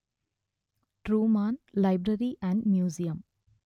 Truman library and museum